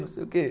Não sei o quê.